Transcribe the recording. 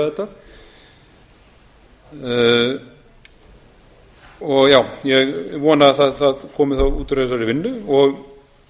sem ætlar hugsanlega að gera þetta ég vona að það komi þá út úr þessari vinnu og